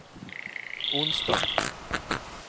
onsdag